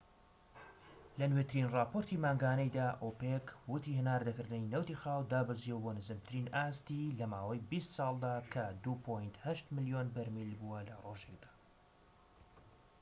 لە نوێترین راپۆرتی مانگانەیدا، ئۆپیک وتی هەناردەکردنی نەوتی خاو دابەزیوە بۆ نزمترین ئاستی لەماوەی بیست ساڵدا کە ٢.٨ ملیۆن بەرمیل بووە لە ڕۆژێكدا